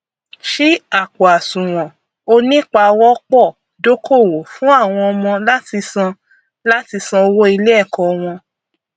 ṣí àpòàsùwọn onípawọpọdókòwò fún àwọn ọmọ láti san láti san owó iléẹkọ wọn